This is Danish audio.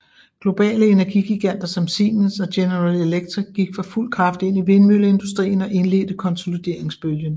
Globale energigiganter som Siemens og General Electric gik for fuld kraft ind i vindmølleindustrien og indledte konsolideringsbølgen